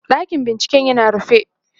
ɗakin binciken yana rufe